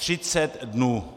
Třicet dnů.